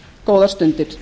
góðar stundir